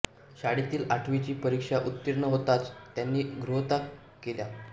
शाळेतील आठवीची परिक्षा उत्तीर्ण होताच त्यांनी गृहत्याग केला